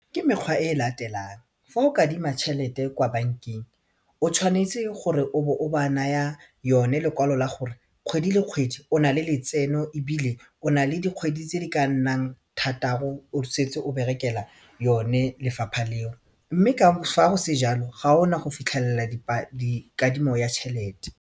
Ke mekgwa e e latelang fa o kadima tšhelete kwa bankeng o tshwanetse gore o bo o ba naya yone lekwalo la gore kgwedi le kgwedi o nale letseno ebile o nale dikgwedi tse di ka nnang thataro o setse o berekela yone lefapha leo mme fa go se jalo ga ona go fitlhelela kadimo ya tšhelete.